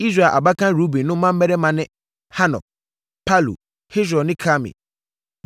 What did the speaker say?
Israel abakan Ruben no mmammarima ne: Hanok, Palu, Hesron ne Karmi.